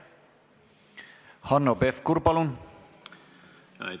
Hanno Pevkur, palun!